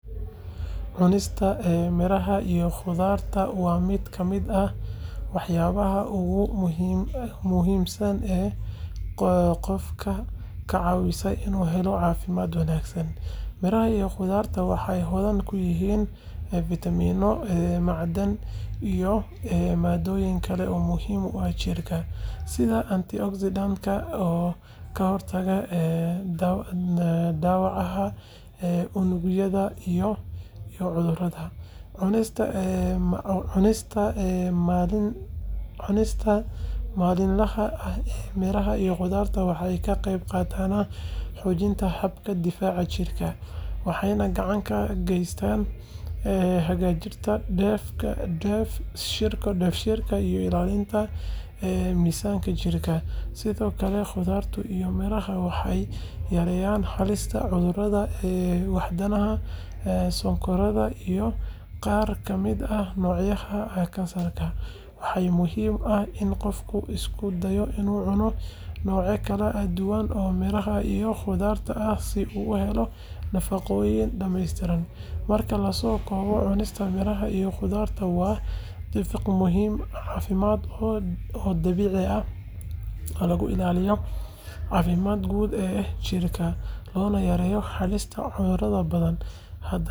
Cunista miraha iyo khudaarta waa mid ka mid ah waxyaabaha ugu muhiimsan ee qofka ka caawiya inuu helo caafimaad wanaagsan. Miraha iyo khudaarta waxay hodan ku yihiin fiitamiinno, macdan, iyo maaddooyin kale oo muhiim u ah jirka, sida antioxidants-ka oo ka hortaga dhaawaca unugyada iyo cudurrada. Cunista maalinlaha ah ee miraha iyo khudaarta waxay ka qeyb qaadataa xoojinta habka difaaca jirka, waxayna gacan ka geysataa hagaajinta dheef-shiidka iyo ilaalinta miisaanka jirka. Sidoo kale, khudaarta iyo miraha waxay yareeyaan halista cudurrada wadnaha, sonkorowga, iyo qaar ka mid ah noocyada kansarka. Waxaa muhiim ah in qofku isku dayo inuu cuno noocyo kala duwan oo miraha iyo khudaarta ah si uu u helo nafaqooyin dhameystiran. Marka la soo koobo, cunista miraha iyo khudaarta waa dariiq caafimaad oo dabiici ah oo lagu ilaaliyo caafimaadka guud ee jirka, loona yareeyo halista cudurrada badan. Haddaba, qof walba waa in uu ku dadaalo in cunista miraha iyo khudaarta ay qayb weyn ka noqoto nolol maalmeedkiisa.